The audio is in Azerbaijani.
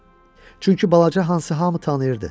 Çünki balaca Hansı hamı tanıyırdı.